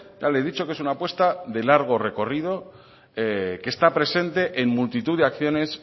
ya le he dicho que es una apuesta de largo recorrido que está presente en multitud de acciones